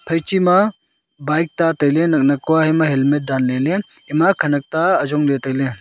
phaichi ma bike tailey naknak kua helmet danleley ema khenak ta ayongley tailey.